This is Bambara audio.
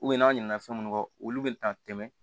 n'a ɲinɛna fɛn munnu kɔ olu bɛ taa tɛmɛ